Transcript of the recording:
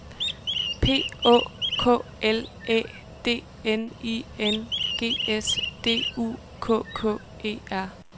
P Å K L Æ D N I N G S D U K K E R